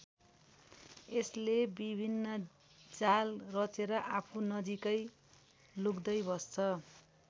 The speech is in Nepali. यसले विभिन्न जाल रचेर आफू नजिकै लुक्दै बस्छ।